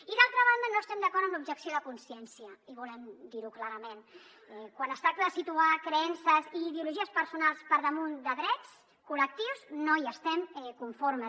i d’altra banda no estem d’acord amb l’objecció de consciència i volem dir ho clarament quan es tracta de situar creences i ideologies personals per damunt de drets col·lectius no hi estem conformes